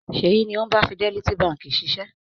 Ṣèyí ni ó ń bá Fidelity Báńkì ṣiṣẹ́.